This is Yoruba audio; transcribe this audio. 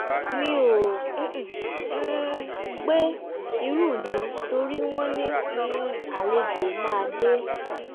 mi ò um gbẹ irun mi torí wọ́n ní um àlejò máa dé